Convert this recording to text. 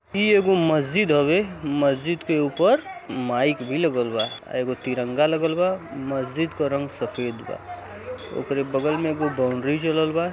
ई एगो मस्जिद हवे मस्जिद के ऊपर माइक भी लगलबा। एगो तिरंगा लगल बा। मस्जिद क रंग सफ़ेद बा। ओकरे बगल में एगो बाउंडरी चललबा।